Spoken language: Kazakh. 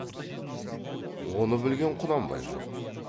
оны білген құнанбай жоқ